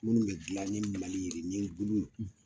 Munnu be gilan ni mali yirinin bulu